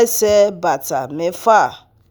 ẹsẹ̀ bàtà mẹ́fà